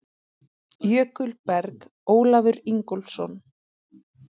Jökulberg: Ólafur Ingólfsson.